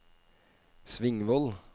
Svingvoll